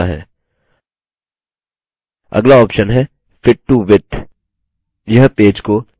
अगला option है fit to width यह पेज को इसकी चौड़ाई से fit करता है